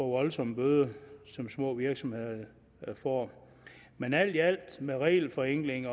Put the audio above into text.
voldsomme bøder som små virksomheder får men alt i alt med regelforenkling